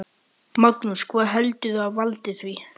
Magnús: Hvað heldurðu að valdi því?